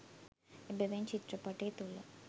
එබැවින් චිත්‍රපටය තුළ